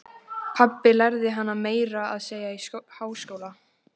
Pabbi lærði hana meira að segja í háskóla.